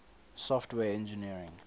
software engineering